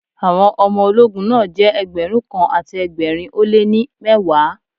Àwọn ọmọ ológun náà jẹ́ Ẹgbẹ̀rún kan àti ẹgbẹ̀rin ó lé ní mẹ́wàá.